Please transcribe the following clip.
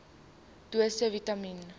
dosisse vitamien